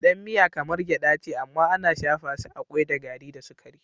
Gyaɗan miya kamar gyaɗa ce amma ana shafa su a kwai da gari da sukari.